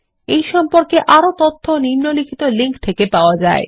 এই সম্পর্কে আরও তথ্য নিম্নলিখিত লিঙ্ক থেকে পাওয়া যায়